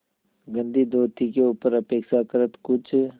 गंदी धोती के ऊपर अपेक्षाकृत कुछ